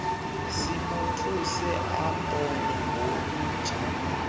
simothuse abone ngolutsha